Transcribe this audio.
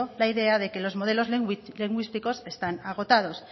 la idea de que los modelos lingüísticos están agotados